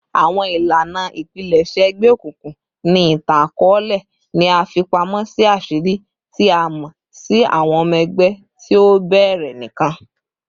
Awọn ilana ipilẹṣẹ egbeokunkun ni itan-akọọlẹ ni a fi pamọ si aṣiri, ti a mọ si awọn ọmọ ẹgbẹ ti o bẹrẹ nikan